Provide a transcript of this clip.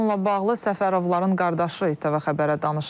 Bununla bağlı Səfərovların qardaşı ITV xəbərə danışıb.